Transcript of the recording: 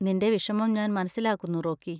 നിന്‍റെ വിഷമം ഞാൻ മനസിലാക്കുന്നു, റോക്കി.